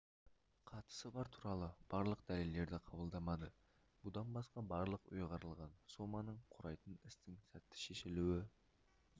қатысы бар туралы барлық дәлелдерді қабылдамады бұдан басқа барлық ұйғарылған соманың құрайтын істің сәтті шешілуі